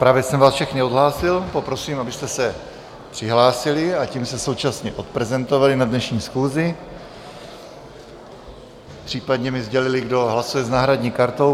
Právě jsem vás všechny odhlásil, poprosím, abyste se přihlásili a tím se současně odprezentovali na dnešní schůzi, případně mi sdělili, kdo hlasuje s náhradní kartou.